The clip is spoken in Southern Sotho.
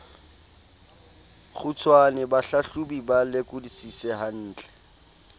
kgutshwane bahlahlobi ba lekodisise hantle